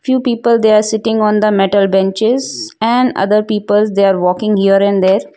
few people they are sitting on the metal benches and other peoples they are walking here and there.